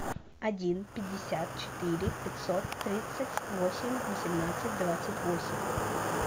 один пятьдесят четыре пятьсот тридцать восемь восемнадцать двадцать восемь